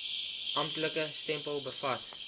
amptelike stempel bevat